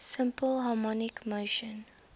simple harmonic motion